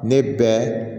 Ne bɛ